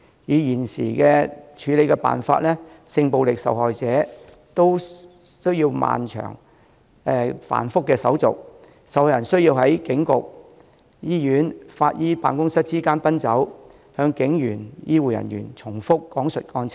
以現時的處理辦法，性暴力受害人都需要經歷漫長、繁複的手續，受害人需要在警局、醫院、法醫辦公室之間奔走，向警員和醫護人員等重複講述案情。